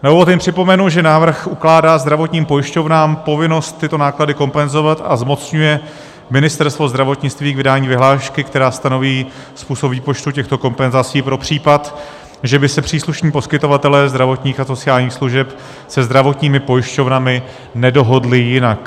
Na úvod jen připomenu, že návrh ukládá zdravotním pojišťovnám povinnost tyto náklady kompenzovat, a zmocňuje Ministerstvo zdravotnictví k vydání vyhlášky, která stanoví způsob výpočtu těchto kompenzací pro případ, že by se příslušní poskytovatelé zdravotních a sociálních služeb se zdravotními pojišťovnami nedohodli jinak.